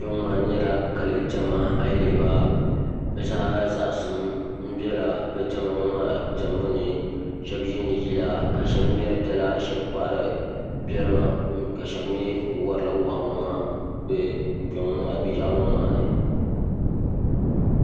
Kpɛ ŋo maa nyɛla kali diɛma ayi lihiba bi zaa zaŋsim biɛla bi diɛma ŋo maa diɛmbu ni shab yiindi yila ka shab ŋmɛri dala shab kpahari doliba ka shab mii kuli worila waa ŋo maa bi yaɣali ŋo maa ni